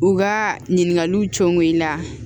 U ka ɲininkaliw cɔngɔ i la